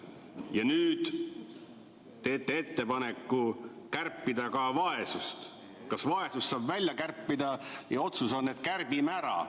Ja nüüd te teete ettepaneku kärpida ka vaesust, kas vaesust saab välja kärpida, ja otsus on, et kärbime ära.